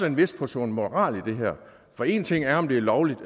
en vis portion moral i det her for én ting er om det er lovligt